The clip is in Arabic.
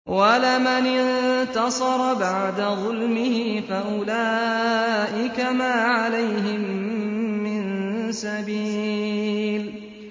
وَلَمَنِ انتَصَرَ بَعْدَ ظُلْمِهِ فَأُولَٰئِكَ مَا عَلَيْهِم مِّن سَبِيلٍ